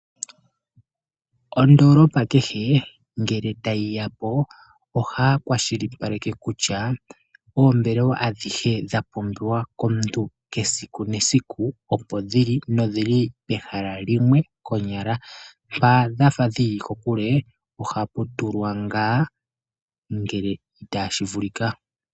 Ondoolopa kehe ngele tayi yapo ohaya kwashilipaleke kutya oombelelwa adhihe dha pumbiwa komuntu esiku nesiku opo dhili nodhili pehala limwe konyala. Mpa dha fa dhili kokule ohapu tulwa ngaa ngele tashi vulika.